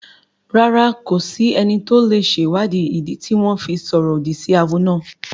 Rárá, kò sí ẹni tó lè sèwáàdí ìdí tí wọ́n fi sọ̀rọ̀ òdì sí awo náà